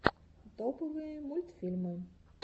топовые мультфильмы